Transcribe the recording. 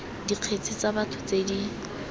dikgetse tsa batho tse di